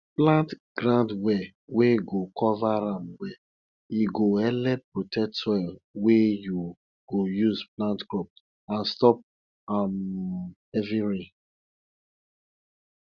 plant ground well wey go cover am well e go helep protect soil wey you go use plant crop and stop um heavy rain